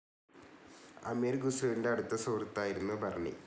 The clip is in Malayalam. അമീർ ഖുസ്രുവിൻ്റെ അടുത്ത സുഹൃത്തുമായിരുന്നു ബർണി.